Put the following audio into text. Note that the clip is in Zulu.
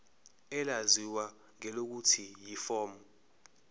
elaziwa ngelokuthi yiform